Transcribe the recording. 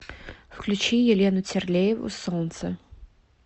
включи елену терлееву солнце